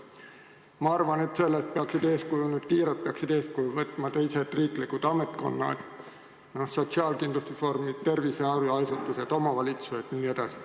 Ma arvan, et sellest peaksid kiirelt eeskuju võtma teised riiklikud ametkonnad, sotsiaalkindlustusvormid, terviseasutused, omavalitsused jne.